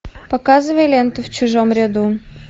показывай ленту в чужом ряду